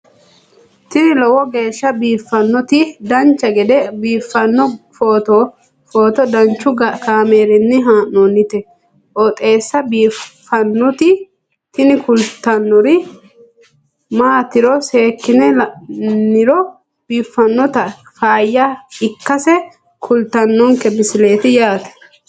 tini lowo geeshsha biiffannoti dancha gede biiffanno footo danchu kaameerinni haa'noonniti qooxeessa biiffannoti tini kultannori maatiro seekkine la'niro biiffannota faayya ikkase kultannoke misileeti yaate